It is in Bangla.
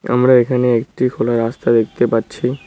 আমরা এখানে একটি ফুলের রাস্তা দেখতে পাচ্ছি।